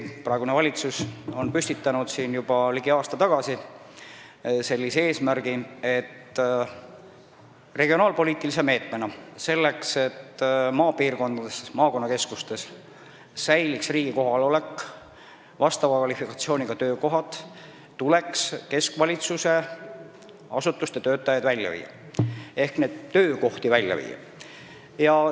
Praegune valitsus püstitas tõesti juba ligi aasta tagasi sellise eesmärgi regionaalpoliitilise meetmena: selleks, et maapiirkonnas, maakonnakeskustes säiliks riigi kohalolek ja vastava kvalifikatsiooniga töökohad, tuleks keskvalitsuse asutuste töötajaid ehk neid töökohti pealinnast välja viia.